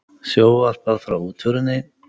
Sjónvarpað frá útförinni